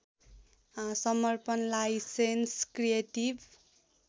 समर्पण licence creative